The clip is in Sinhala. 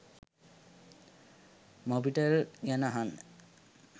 මොබිටෙල් ගැන අහන්න